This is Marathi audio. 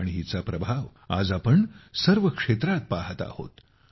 आणि हिचा प्रभाव आज सर्व क्षेत्रात आम्ही पहात आहोत